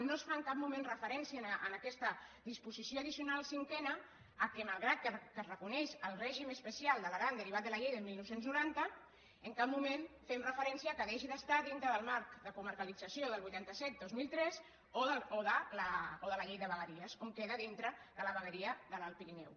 no es fa en cap moment referència en aquesta disposició addicional cinquena que malgrat que es reconeix el règim especial de l’aran derivat de la llei del dinou noranta en cap moment fem referència que deixi d’estar dintre del marc de comarcalització del vuitanta set dos mil tres o de la llei de vegueries on queda dintre de la vegueria de l’alt pirineu